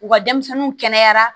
U ka denmisɛnninw kɛnɛyara